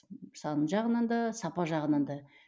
саны жағынан да сапа жағынан да